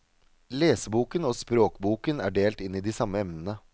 Leseboken og språkboken er delt inn i de samme emnene.